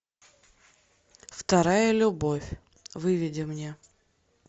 вторая любовь выведи мне